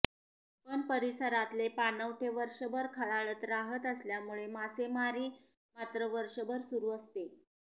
पण परिसरातले पाणवठे वर्षभर खळाळत राहत असल्यामुळे मासेमारी मात्र वर्षभर सुरू असते